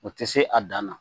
O tɛ se a dan na